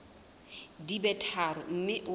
di be tharo mme o